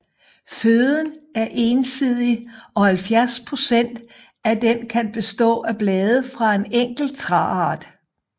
Føden er ensidig og 70 procent af den kan bestå af blade fra en enkelt træart